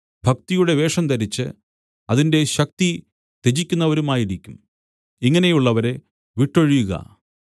ഭക്തിയുടെ വേഷം ധരിച്ച് അതിന്റെ ശക്തി ത്യജിക്കുന്നവരുമായിരിക്കും ഇങ്ങനെയുള്ളവരെ വിട്ടൊഴിയുക